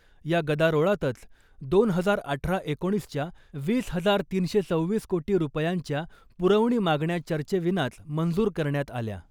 या गदारोळातच दोन हजार अठरा एकोणिसच्या वीस हजार तीनशे सव्वीस कोटी रुपयांच्या पुरवणी मागण्या चर्चेविनाच मंजूर करण्यात आल्या .